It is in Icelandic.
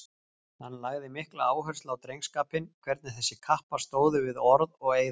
Hann lagði mikla áherslu á drengskapinn, hvernig þessir kappar stóðu við orð og eiða.